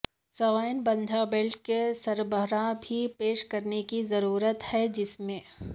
سوےن باندھ بیلٹ کے سربراہ بھی پیش کرنے کی ضرورت ہے جس میں